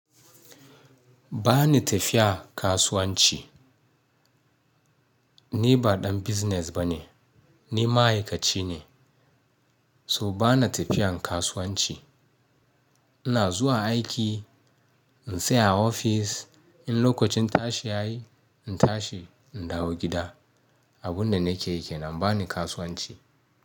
Ba ni tafiya kasuwanci. Ni ba ɗan business bane, ni ma'aikaci ne. So ba ni tafiyan kasuwanci. Ina zuwa aiki, in tsaya a ofis, in lokacin tashi ya yi, in tashi in dawo gida. Abin da nake yi kenan ba ni kasuwanci.